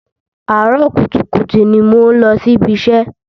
Àárọ̀ kùtùkùtù ni mò ń lọ sí ibi iṣẹ́.